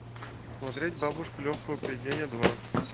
смотреть бабушка легкого поведения два